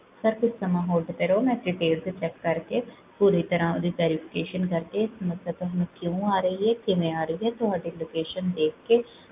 Sir ਕੁਛ ਸਮਾਂ hold ਤੇ ਰਹੋ, ਮੈਂ ਤੇ check ਕਰ ਕੇ, ਪੂਰੀ ਤਰਹ ਓਦੀ clarification ਕਰ ਕੇ, ਮੈਂ ਤੁਹਾਨੂ ਕਿਓਂ ਆ ਰਹੀ ਹੈ? ਕਿਵੇਂ ਆ ਰਹੀ ਹੈ? ਤੁਹਾਡੀ location ਦੇਖ ਕੇ